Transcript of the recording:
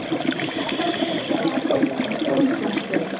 Flestar sögurnar hafa komið út á íslensku.